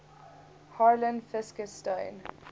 harlan fiske stone